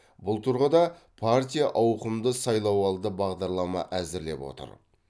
бұл тұрғыда партия ауқымды сайлауалды бағдарлама әзірлеп отыр